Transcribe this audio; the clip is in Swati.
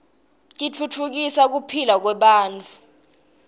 titfutfukisa kuphila kwebantfu